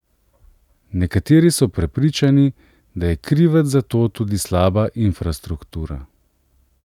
Nekateri so prepričani, da je krivec za to tudi slaba infrastruktura.